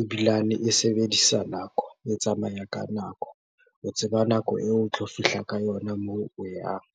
ebilane e sebedisa nako, e tsamaya ka nako. O tseba nako eo o tlo fihla ka yona moo o yang.